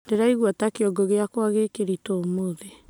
Ndĩraigwa ta kĩongo gĩakwa gĩ kĩrĩtũũmũthĩ